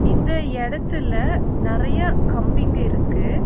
இந்த எடத்துல நெறைய கம்பிங்க இருக்கு.